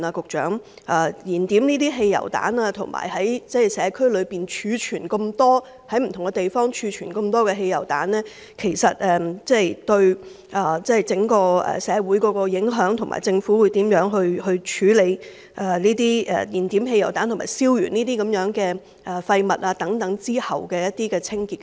我想問局長，燃點這些汽油彈及在社區不同地方儲存大量汽油彈，對整個社區有何影響，以及政府會如何清理在汽油彈燃點後及燃燒這些廢物後的環境？